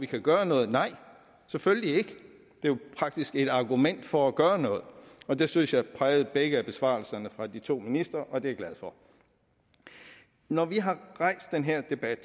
kan gøre noget nej selvfølgelig ikke det er jo faktisk et argument for at gøre noget og det synes jeg prægede begge besvarelserne fra de to ministre og det er jeg glad for når vi har rejst den her debat